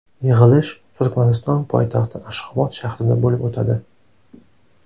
Yig‘ilish Turkmaniston poytaxti Ashxobod shahrida bo‘lib o‘tadi.